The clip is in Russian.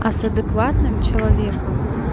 а с адекватным человеком